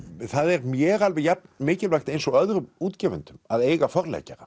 það er mér alveg jafn mikilvægt eins og öðrum útgefendum að eiga